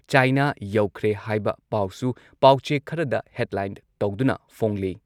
China ꯌꯧꯈ꯭ꯔꯦ ꯍꯥꯏꯕ ꯄꯥꯎꯁꯨ ꯄꯥꯎꯆꯦ ꯈꯔꯗ ꯍꯦꯗꯂꯥꯏꯟ ꯇꯧꯗꯨꯅ ꯐꯣꯡꯂꯤ꯫